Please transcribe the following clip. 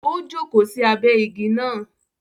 O joko sí abẹ ìgi náà